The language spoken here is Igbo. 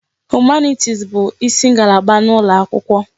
Humanitis bụ isi ngalaba n'ụlọ akwụkwọ.